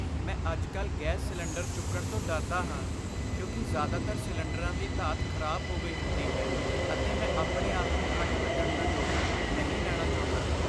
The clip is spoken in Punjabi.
ਮੈਂ ਅੱਜ ਕੱਲ੍ਹ ਗੈਸ ਸਿਲੰਡਰ ਚੁੱਕਣ ਤੋਂ ਡਰਦਾ ਹਾਂ ਕਿਉਂਕਿ ਜ਼ਿਆਦਾਤਰ ਸਿਲੰਡਰਾਂ ਦੀ ਧਾਤ ਖ਼ਰਾਬ ਹੋ ਗਈ ਹੁੰਦੀ ਹੈ ਅਤੇ ਮੈਂ ਆਪਣੇ ਆਪ ਨੂੰ ਕੱਟ ਲੱਗਣ ਦਾ ਜੋਖਮ ਨਹੀਂ ਲੈਣਾ ਚਾਹੁੰਦਾ